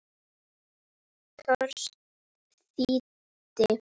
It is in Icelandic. Thors þýddi.